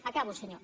acabo senyor